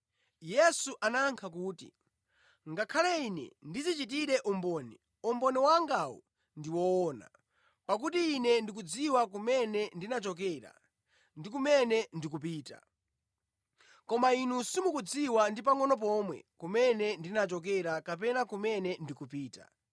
Yesu anayankha kuti, “Ngakhale Ine ndidzichitire umboni, umboni wangawu ndi woona, pakuti Ine ndikudziwa kumene ndinachokera ndi kumene ndikupita. Koma inu simukudziwa ndi pangʼono pomwe kumene ndinachokera kapena kumene ndikupita.